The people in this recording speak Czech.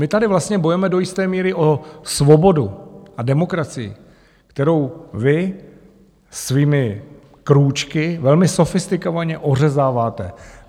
My tady vlastně bojujeme do jisté míry o svobodu a demokracii, kterou vy svými krůčky velmi sofistikovaně ořezáváte.